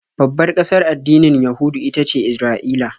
Babbar ƙasar addinin Yahudu ita ce Isra'ila.